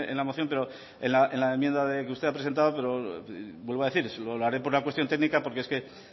en la moción pero en la enmienda que usted ha presentado pero vuelvo a decir lo hare por una cuestión técnica porque